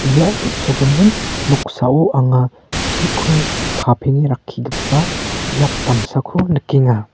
ia on·sogimin noksao anga chiko kapenge rakkigipa biap damsako nikenga.